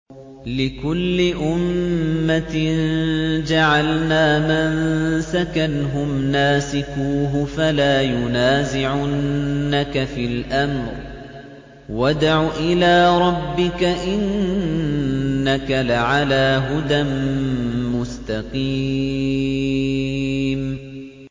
لِّكُلِّ أُمَّةٍ جَعَلْنَا مَنسَكًا هُمْ نَاسِكُوهُ ۖ فَلَا يُنَازِعُنَّكَ فِي الْأَمْرِ ۚ وَادْعُ إِلَىٰ رَبِّكَ ۖ إِنَّكَ لَعَلَىٰ هُدًى مُّسْتَقِيمٍ